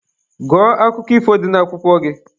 Gụọ akụkọ ifo dị n'akwụkwọ gị!